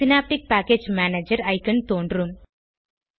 synaptic package manager icon தோன்றும்